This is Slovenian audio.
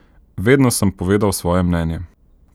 Vedno sem povedal svoje mnenje.